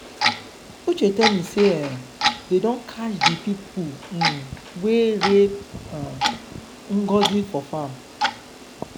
uche tell me say um dey don catch the people um wey rape um ngozi for her farm.